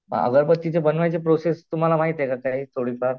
अगरबात्तीची बनवण्याची प्रोसेस काही तुम्हाला माहित आहे का थोडीफार?